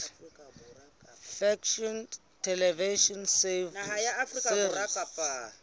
fiction television series